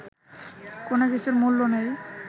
কোনো কিছুর মূল্য নেই